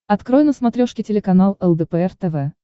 открой на смотрешке телеканал лдпр тв